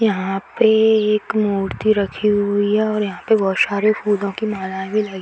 यहाँ पे एक मूर्ति रखी हुई है और यहाँ पे बहुत सारे फूलों की माला भी लगी --